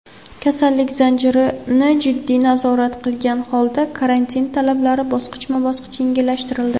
"kasallik zanjiri"ni jiddiy nazorat qilgan holda karantin talablari bosqichma-bosqich yengillashtirildi.